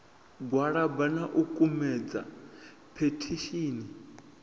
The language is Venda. gwalaba na u kumedza phethishini